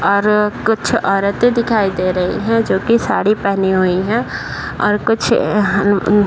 और कुछ औरते दिखाई दे रही हैं जोकि साड़ी पहनी हुई हैं और कुछ यहाँ --